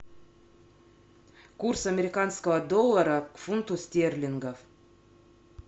курс американского доллара к фунту стерлингов